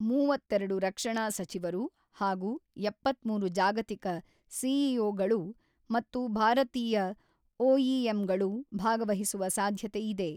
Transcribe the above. ಮೂವತ್ತೆರಡು ರಕ್ಷಣಾ ಸಚಿವರು ಹಾಗೂ ಎಪ್ಪತ್ತ್ಮೂರು ಜಾಗತಿಕ ಸಿಇಓಗಳು ಮತ್ತು ಭಾರತೀಯ ಒಇಎಂಗಳು ಭಾಗವಹಿಸುವ ಸಾಧ್ಯತೆಯಿದೆ